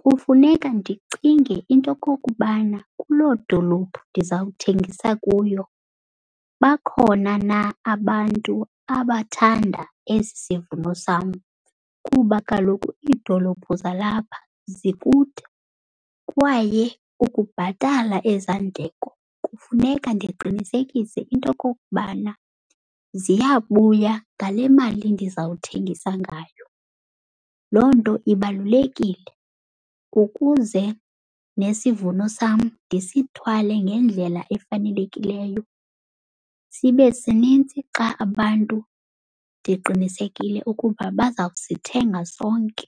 Kufuneka ndicinge into yokokubana kuloo dolophu ndizawuthengisa kuyo bakhona na abantu abathanda esi sivuno sam, kuba kaloku iidolophu zalapha zikude kwaye ukubhatala eza ndleko funeka ndiqinisekise into okokubana ziyabuya ngale mali ndizawuthengisa ngayo. Loo nto ibalulekile ukuze nesivumo sam ndisithwale ngendlela efanelekileyo, sibe sinintsi xa abantu ndiqinisekile ukuba baza kusithenga sonke.